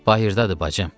Bayırdadır bacım.